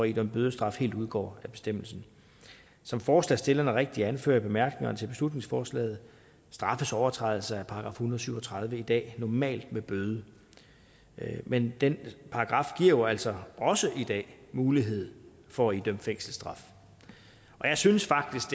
idømme bødestraf helt udgår af bestemmelsen som forslagsstillerne rigtigt anfører i bemærkningerne til beslutningsforslaget straffes overtrædelse af § en hundrede og syv og tredive i dag normalt med bøde men den paragraf giver jo altså også i dag mulighed for at idømme fængselsstraf og jeg synes faktisk